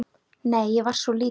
Nei, ég var svo lítil.